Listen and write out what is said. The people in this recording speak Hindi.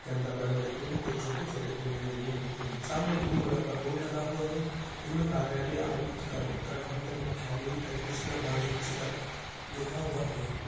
के अंदर बड़े-बड़े पेड़ कुछ छोटे-छोटे पेड़ लगे हुए हैं सामने एक ब्लू कलर का बोर्ड लगा हुआ है जिसमें कार्यालय आयुक्त कर उत्तराखंड मुख्यालय कमिसनर वाणिज्यकर लिखा हुआ है।